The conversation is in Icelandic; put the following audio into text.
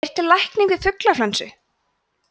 er til lækning við fuglaflensu